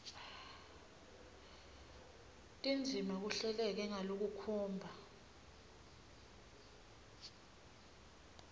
tindzima kuhleleke ngalokukhomba